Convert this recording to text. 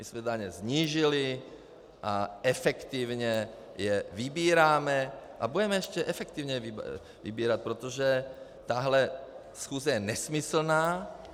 My jsme daně snížili a efektivně je vybíráme a budeme je efektivně vybírat, protože tahle schůze je nesmyslná.